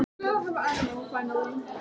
Það var pabbi sem öskraði.